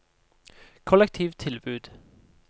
kollektivtilbud